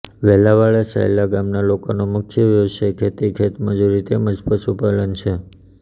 વેલાળા સાયલા ગામના લોકોનો મુખ્ય વ્યવસાય ખેતી ખેતમજૂરી તેમ જ પશુપાલન છે